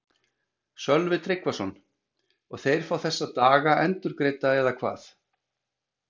Sölvi Tryggvason: Og þeir fá þessa daga endurgreidda eða hvað?